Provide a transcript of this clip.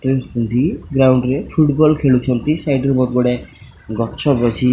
dress ପିନ୍ଧି ground ରେ football ଖେଳୁଛନ୍ତି ସାଇଡ୍ ରେ ବହୁତ ଗୁଡାଏ ଗଛ ବଛି --